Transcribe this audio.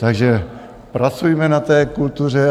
Takže pracujme na té kultuře.